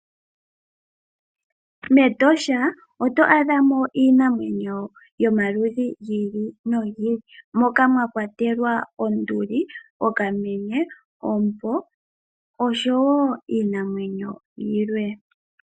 MEtosha oto adha mo iinamwenyo yomaludhi gi ili nogi ili. Moka mwa kwatelwa onduli, okamenye, oompo noshowo iinamwenyo yilwe.